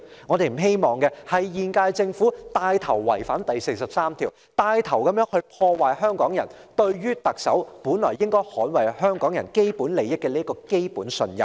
我們不希望現屆政府牽頭違反《基本法》第四十三條，牽頭破壞香港人對特首應該捍衞香港人基本利益的基本信任。